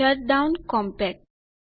shutdown compact